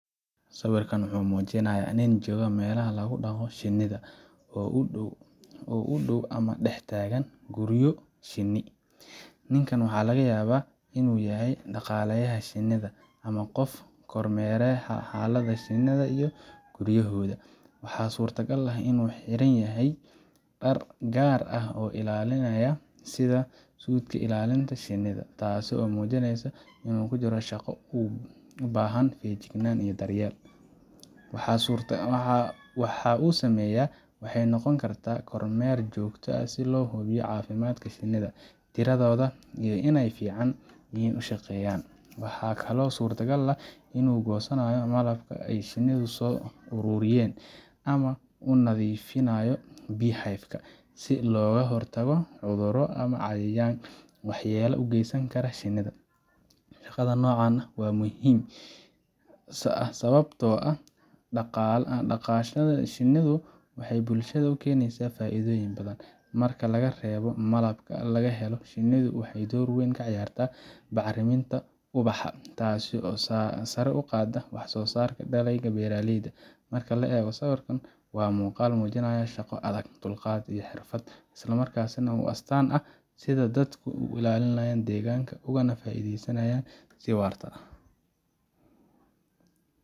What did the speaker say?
Sawirkan wuxuu muujinayaa nin jooga meel lagu dhaqdo shinnida, oo u dhow ama dhex taagan guryo shinni . Ninkan waxaa laga yaabaa inuu yahay dhaqaaleyaha shinnida ama qof kormeeraya xaaladda shinnida iyo guryahooda. Waxaa suurtagal ah inuu xiran yahay dhar gaar ah oo ilaalinaya, sida suudhka ilaalinta shinnida, taasoo muujinaysa inuu ku jiro shaqo u baahan feejignaan iyo daryeel. Waxa uu sameynayo waxay noqon kartaa kormeer joogto ah si loo hubiyo caafimaadka shinnida, tiradooda, iyo inay si fiican u shaqeyan. Waxaa kaloo suuragal ah inuu goosanayo malabka ay shinnidu soo ururiyeen, ama uu nadiifinayo beehives ka si looga hortago cudurro ama cayayaan waxyeello u geysan kara shinnida. Shaqada noocan ah waa mid muhiim ah sababtoo ah dhaqashada shinnidu waxay bulshada u keenaysaa faa’iidooyin badan. Marka laga reebo malabka la helo, shinnidu waxay door weyn ka ciyaaraan bacriminta ubaxa, taasoo sare u qaadda wax soosaarka dalagyada beeraleyda. Marka la eego sawirka, waa muuqaal muujinaya shaqo adag, dulqaad, iyo xirfad, isla markaana ah u astaan u ah sida dadku u ilaaliyaan deegaanka ugana faa’iidaystaan si waarta.